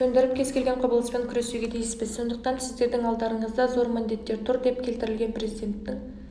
төндіретін кез келген құбылыспен күресуге тиіспіз сондықтан сіздердің алдарыңызда зор міндеттер тұр деп келтірілген президенттің